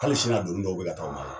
Hali sini a doni dɔw be ka taa u ma ye